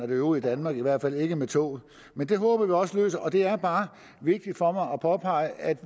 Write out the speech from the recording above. det øvrige danmark i hvert fald ikke med toget men det håber vi også lykkes og det er bare vigtigt for mig at påpege at